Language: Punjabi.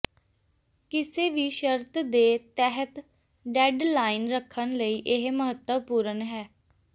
ਕਿਸੇ ਵੀ ਸ਼ਰਤ ਦੇ ਤਹਿਤ ਡੈੱਡਲਾਈਨ ਰੱਖਣ ਲਈ ਇਹ ਮਹੱਤਵਪੂਰਣ ਹੈ